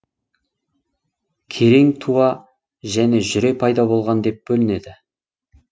керең туа және жүре пайда болған деп бөлінеді